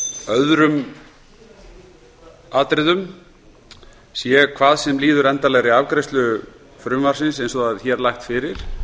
öðrum atriðum sé hvað sem líður endanlegri afgreiðslu frumvarpsins eins og það er hér lagt fyrir